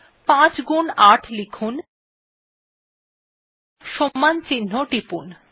৫ গুন ৮ লিখুন এবং টিপুন